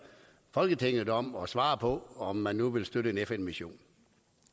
folketinget om at svare på om man nu vil støtte en fn mission